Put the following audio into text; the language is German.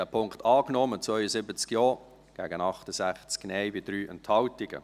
Sie haben diesen Punkt angenommen, mit 72 Ja- gegen 68 Nein-Stimmen bei 3 Enthaltungen.